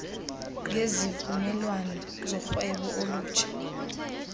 ngezivumelwano zorhwebo olutsha